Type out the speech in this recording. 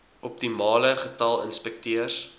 optimale getal inspekteurs